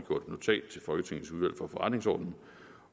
forretningsordenen